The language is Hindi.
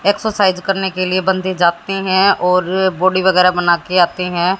एक्सरसाइज करने के लिए बंदे जाते हैं और बॉडी वगैरह बना के आते हैं।